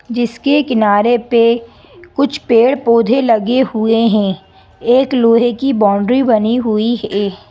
जिसके किनारे पे कुछ पेड़-पौधे लगे हुए हैं एक लोहे की बाउंड्री बनी हुई हैं।